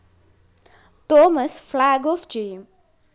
Thomas flag off ചെയ്യും